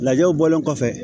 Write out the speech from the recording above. Lajɛw bɔlen kɔfɛ